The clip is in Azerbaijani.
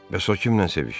Bəs o kiminlə sevişir?